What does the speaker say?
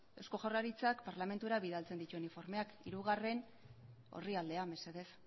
eusko jaurlaritzak parlamentura bidaltzen dituen informeak hirugarren orrialdea mesedez